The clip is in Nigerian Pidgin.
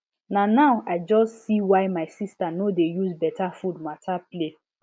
na now i just see why my sister no dey use better food matter play